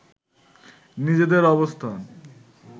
নিজেদের অবস্থান